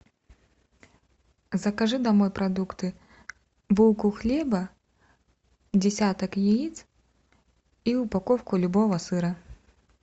закажи домой продукты булку хлеба десяток яиц и упаковку любого сыра